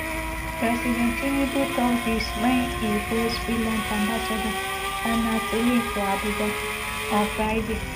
president tinubu tok dis wen e host finland ambassador sanna selin for abuja on friday